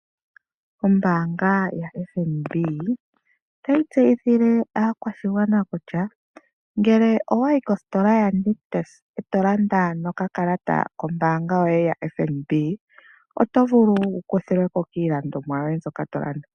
Ombaanga yaFNB otayi tseyithile aakwashigwana kutya; ngele owayi kositola yaNictus eto landa nokakalata kombaangaa yoye yoFNB, oto vulu wu kuthilweko kiilandomwa yoye mbyoka to landa.